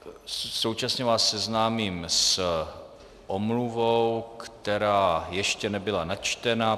Současně vás seznámím s omluvou, která ještě nebyla načtena.